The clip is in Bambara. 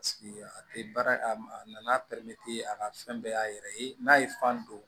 a tɛ baara a nan'a a ka fɛn bɛɛ y'a yɛrɛ ye n'a ye fan don